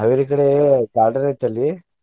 Haveri ಕಡೆ ಅಲ್ಲಿ.